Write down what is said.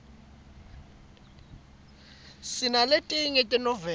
sinaletinye tenoveli